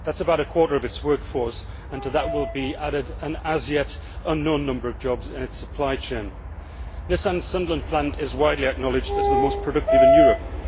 That is about a quarter of its workforce, and to that will be added an as yet unknown number of jobs in its supply chain. Nissan's Sunderland plant is widely acknowledged as the most productive in Europe.